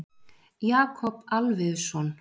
Jakob Alfeusson.